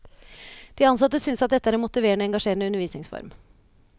De ansatte synes at dette er en motiverende og engasjerende undervisningsform.